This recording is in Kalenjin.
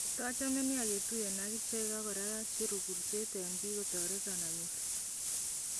Katachame nia ketuyen ak ichek ak koraa acheruu kurseet en biik kotoretan anyoor"